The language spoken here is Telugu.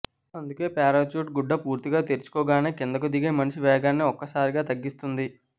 అందుకే పారాచ్యూట్ గుడ్డ పూర్తిగా తెరచుకోగానే కిందకు దిగే మనిషి వేగాన్ని ఒక్కసారిగా తగ్గిస్తుంది